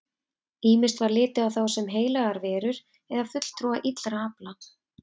Ýmist var litið á þá sem heilagar verur eða fulltrúa illra afla.